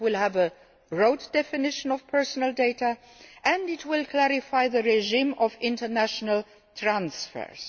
It will have a broad definition of personal data and will clarify the regime for international transfers.